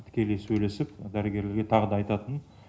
тікелей сөйлесіп дәрігерлерге тағы да айтатын